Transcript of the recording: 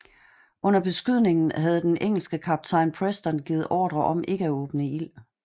Under beskydningen havde den engelske kaptajn Preston givet ordre om ikke at åbne ild